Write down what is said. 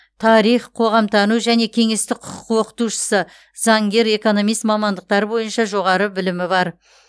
тарих қоғамтану және кеңестік құқық оқытушысы заңгер экономист мамандықтары бойынша жоғары білімі бар